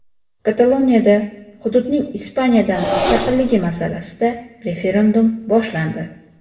Kataloniyada hududning Ispaniyadan mustaqilligi masalasida referendum boshlandi.